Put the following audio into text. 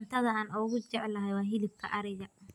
Cuntada aan ugu jecelahay waa hilibka ariga.